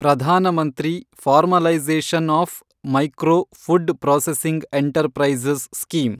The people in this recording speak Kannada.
Pradhan Mantri formalisation of micro food processing enterprises scheme